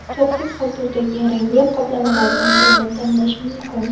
To‘qqiz xil turdagi rangli qoplamalardan birini tanlash mumkin.